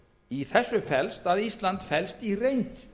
í þessu felst að ísland fellst í reynd